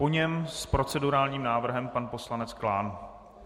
Po něm s procedurálním návrhem pan poslanec Klán.